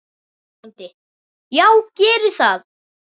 BÓNDI: Já, gerið það.